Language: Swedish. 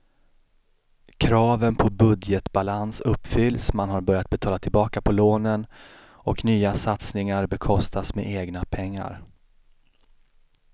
Kraven på budgetbalans uppfylls, man har börjat betala tillbaka på lånen och nya satsningar bekostas med egna pengar.